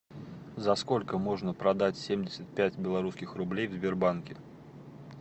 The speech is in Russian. за сколько можно продать семьдесят пять белорусских рублей в сбербанке